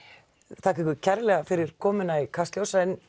þakka ykkur kærlega fyrir komuna í Kastljós en